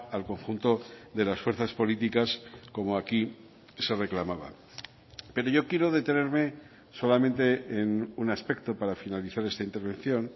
al conjunto de las fuerzas políticas como aquí se reclamaban pero yo quiero detenerme solamente en un aspecto para finalizar esta intervención